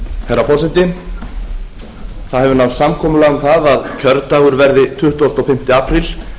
herra forseti það hefur náðst samkomulag um það að kjördagur verði tuttugasta og fimmta apríl